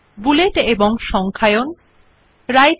bullet ও number দেওয়া